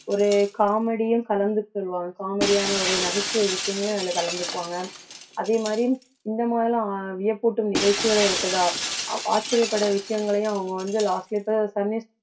ஒரு comedy யும் கலந்து சொல்வாங்க comedy யான ஒரு நகைச்சுவை விஷயங்களையும் அதுல கலந்துக்குவாங்க அதே மாதிரி இந்த மாதிரிலாம் வியப்பூட்டும் நிகழ்ச்சிகளும் இருக்குதா ஆச்சரியப்படுற விஷயங்களையும் அவுங்க வந்து